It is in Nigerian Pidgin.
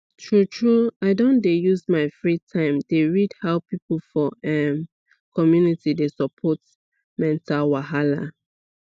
true true i don dey use my free time dey read how people for um community dey support mental wahala